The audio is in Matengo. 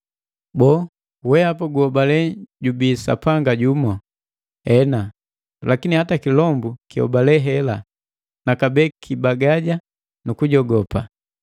Boo, wehapa guhobale jubii Sapanga jumu? Ena! Lakini hata kilombu kihobale hela, na kabee kibagaja ku lujogopu.